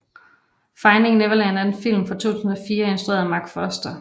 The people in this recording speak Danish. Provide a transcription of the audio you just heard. Finding Neverland er en film fra 2004 instrueret af Marc Forster